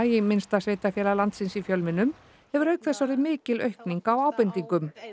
í minnsta sveitarfélag landsins í fjölmiðlum hefur auk þess orðið mikil aukning á ábendingum